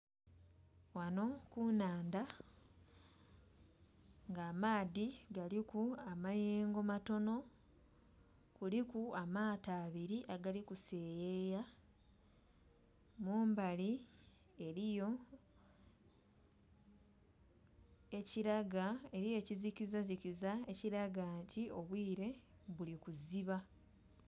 Ghano ku nhandha nga amaadhi galiku amayengo galiku matonho kuliku amato abiri agali kuseyeya, mumbali eriyo ekizikiza zikiza ekilaga nti obwire buli kusiba.